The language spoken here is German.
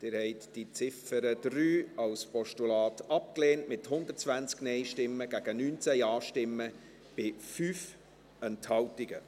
Sie haben die Ziffer 3 als Postulat abgelehnt, mit 120 Nein- gegen 19 Ja-Stimmen bei 5 Enthaltungen.